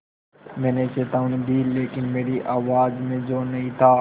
मैंने चेतावनी दी लेकिन मेरी आवाज़ में ज़ोर नहीं था